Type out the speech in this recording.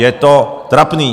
Je to trapné.